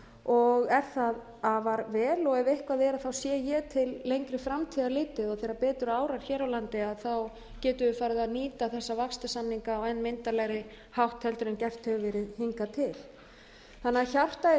og er það afar vel ef eitthvað er sé ég til lengri framtíðar litið og þegar betur árar hér á landi getum við farið að nýta þessa vaxtarsamninga á enn myndarlegri hátt heldur en gert hefur verið hingað til þannig að hjartað